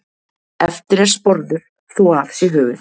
Eftir er sporður þó af sé höfuð.